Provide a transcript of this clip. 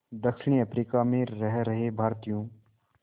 दक्षिण अफ्रीका में रह रहे भारतीयों